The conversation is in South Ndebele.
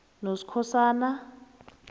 noskhosana